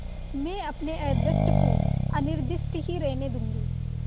मैं अपने अदृष्ट को अनिर्दिष्ट ही रहने दूँगी